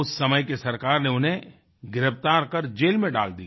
उस समय की सरकार ने उन्हें गिरफ्तार कर जेल में डाल दिया